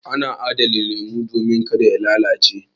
Ana adana lemu domin ka da ya lalace.